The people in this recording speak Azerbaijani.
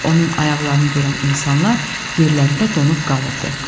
Çünki onun ayaqlarını görən insanlar yerlərində donub qalırdı.